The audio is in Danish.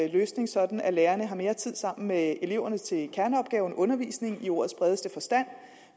løsning sådan at lærerne har mere tid sammen med eleverne til kerneopgaven undervisning i ordets bredeste forstand